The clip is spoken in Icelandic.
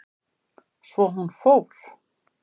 Svo hún fór.